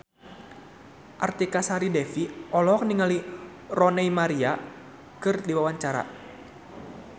Artika Sari Devi olohok ningali Rooney Mara keur diwawancara